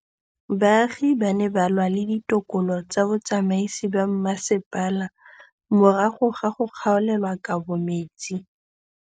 Baagi ba ne ba lwa le ditokolo tsa botsamaisi ba mmasepala morago ga go gaolelwa kabo metsi